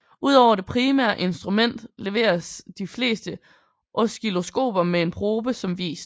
Ud over det primære instrument leveres de fleste oscilloskoper med en probe som vist